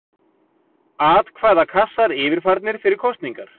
Atkvæðakassar yfirfarnir fyrir kosningar.